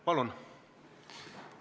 Palun!